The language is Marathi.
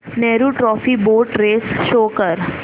Nehru trophy boat race show कर